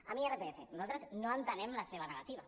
amb l’irpf nosaltres no entenem la seva negativa